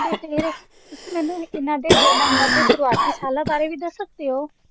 ਤੇ ਫੇਰ ਤੁਸੀ ਮੈਨੂੰ ਇੰਨਾ ਦੇ ਜਨਮ ਅਤੇ ਸ਼ੁਰੁਆਤੀ ਸਾਲਾ ਬਾਰੇ ਵੀ ਦਸ ਸਕਦੇ ਹੋ।